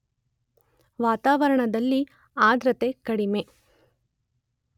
ವಾತಾವರಣದಲ್ಲಿ ಆದ್ರ್ರತೆ ಕಡಿಮೆ.